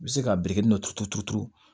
I bɛ se ka biriki dɔ turu turu turu